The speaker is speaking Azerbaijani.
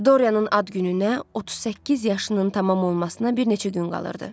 Doryanın ad gününə 38 yaşının tamam olmasına bir neçə gün qalırdı.